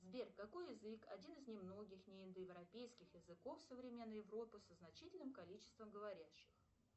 сбер какой язык один из немногих не индоевропейских языков современной европы со значительным количеством говорящих